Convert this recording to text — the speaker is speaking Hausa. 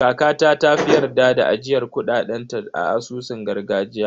Kakata ta fi yarda da ajiyar kuɗaɗen ta a asusun gargajiya.